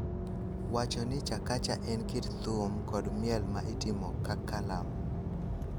wacho ni Chakacha en kit thum kod miel ma itimo kaka lamo